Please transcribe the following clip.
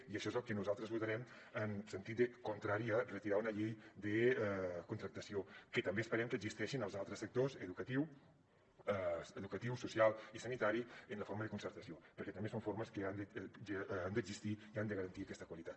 i això és el que nosaltres votarem en sentit contrari a retirar un llei de contractació que també esperem que existeixi en els altres sectors educatiu social i sanitari en la forma de concertació perquè també són formes que han d’existir i han de garantir aquesta qualitat